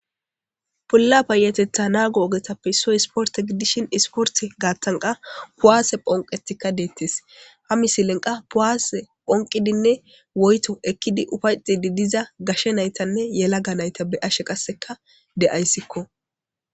Bola payatetha nago ogetape issoy isporite gidishin isiporite gathan qa ku'ase phonqethika de'etes ha misilen qa ku'ase phoqidinee woyito ekida gashe nayitanee yalaga nayita be'ashe qasika de'ayisko